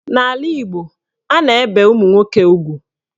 N'ala Igbo, a na-ebe ụmụnwoke ugwu.